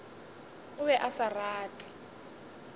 o be a sa rate